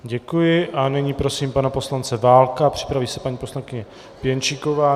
Děkuji a nyní prosím pana poslance Válka, připraví se paní poslankyně Pěnčíková.